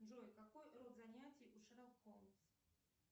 джой какой род занятий у шерлок холмс